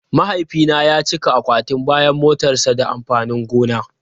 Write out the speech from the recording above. Mahaifina ya cika akwatin bayan motarsa da amfanin gona.